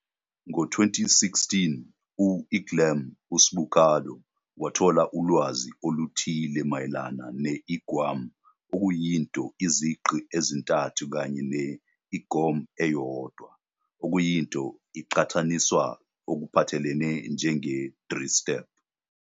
Ngo-2016, u-Iglam u-Sbucardo wathola ulwazi oluthile mayelana ne-Igwam okuyinto izigqi ezintathu kanye ne-Igom eyodwa, okuyinto iqhathaniswa ngokuphathelene njenge-3 Step.